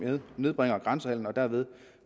nedbringer grænsehandlen og derved